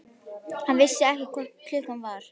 Hann vissi ekki hvað klukkan var.